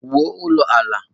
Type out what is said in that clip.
Wuo ulo ala.